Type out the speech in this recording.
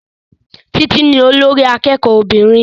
Títí ní olórí akẹ́kọ̀ọ́ obìnrin